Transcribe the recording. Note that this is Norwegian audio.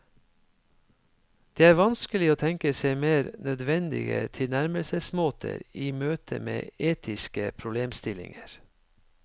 Det er vanskelig å tenke seg mer nødvendige tilnærmelsesmåter i møte med etiske problemstillinger.